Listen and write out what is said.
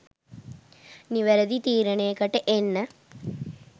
නිවැරැදි තීරණයකට එන්න.